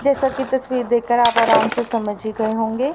जैसा की तस्वीर देखकर आप आराम से समझ ही गए होंगे--